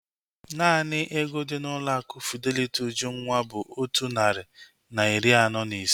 Naanị ego dị n'ụlọ akụ Fideliti Ujunwa bụ otu narị na iri anọ na ise